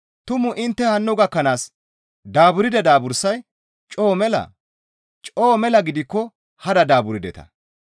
Tumu intte hanno gakkanaas daaburda daabursay coo melaa? Coo mela gidikko hada daaburdeta.